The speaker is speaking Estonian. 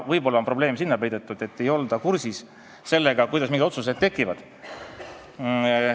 Võib-olla on probleem sinna peidetud, et ei olda kursis sellega, kuidas mingid otsused tekivad.